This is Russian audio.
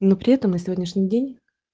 но при этом на сегодняшний день